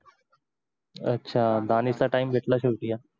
अच्छा दानेचा time घेतला